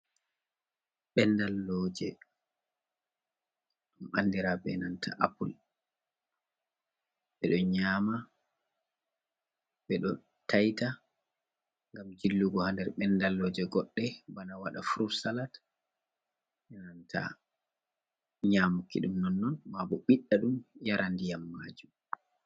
Benɗalloje. Ɗum anɗira benanta apul. Beɗo nyama, beɗo taita ngam jillugo ha nɗer benɗalloje goɗɗe bana waɗa furut salat. E nananta nyamuki ɗum nonnon, ma bo biɗɗa ɗum yara nɗiyam maju.